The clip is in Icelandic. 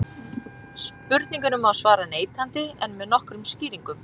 Spurningunni má svara neitandi en með nokkrum skýringum.